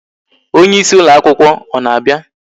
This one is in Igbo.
Onyeisi ụlọ akwụkwọ ọ na-abịa?